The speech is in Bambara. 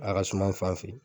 A ga suman n fan fɛ